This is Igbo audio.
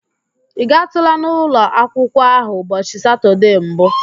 Ị gaatụla n'ụlọ akwụkwụọ ahụ ụbọchị Satọde mbụ?